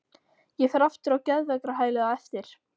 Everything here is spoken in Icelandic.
Ég fer aftur á geðveikrahælið á eftir.